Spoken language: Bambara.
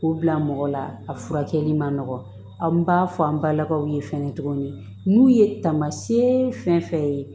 K'u bila mɔgɔ la a furakɛli man nɔgɔ anw b'a fɔ an balakaw ye fɛnɛ tuguni n'u ye tamasɛ fɛn fɛn ye